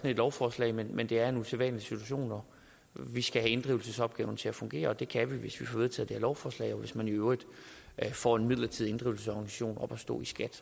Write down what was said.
et lovforslag men det er en usædvanlig situation og vi skal have inddrivelsesopgaven til at fungere det kan vi hvis vi får vedtaget lovforslag og hvis man i øvrigt får en midlertidig inddrivelsesorganisation op at stå i skat